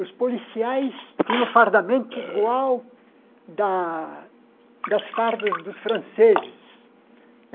Os policiais tinham o fardamento igual da das fardas dos franceses.